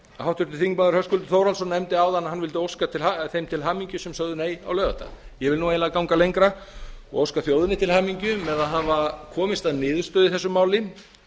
háttvirtur þingmaður höskuldur þórhallsson nefndi áðan að hann vildi óska þeim til hamingju sem sögðu nei á laugardag ég vil eiginlega ganga gera og óska þjóðinni til hamingju með að hafa komist að niðurstöðu í þessu máli